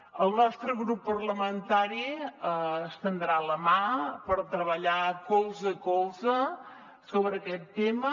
el nostre grup parlamentari estendrà la mà per treballar colze a colze sobre aquest tema